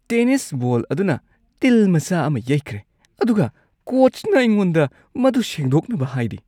Tennis ball ꯑꯗꯨꯅ ꯇꯤꯜ ꯃꯆꯥ ꯑꯃ ꯌꯩꯈ꯭ꯔꯦ ꯑꯗꯨꯒ ꯀꯣꯆꯅ ꯑꯩꯉꯣꯟꯗ ꯃꯗꯨ ꯁꯦꯡꯗꯣꯛꯅꯕ ꯍꯥꯏꯔꯤ ꯫